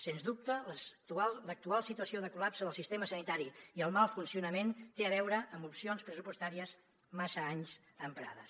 sens dubte l’actual situació de col·lapse del sistema sanitari i el mal funcionament tenen a veure amb opcions pressupostàries massa anys emprades